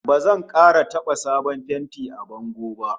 Ba zan kara taba sabon fenti a bango ba!